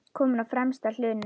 Kominn á fremsta hlunn.